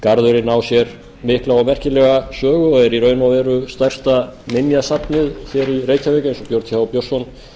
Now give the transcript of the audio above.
garðurinn á sér mikla og merkilega sögu og er í raun og veru stærsta minjasafnið í reykjavík eins og björn th björnsson